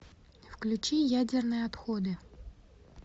включи ядерные отходы